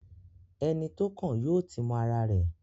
Ẹni tó kàn yóò ti mọ ara rẹ̀.